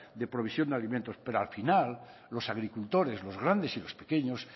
de provisión de alimentos pero al final los agricultores los grandes y los pequeños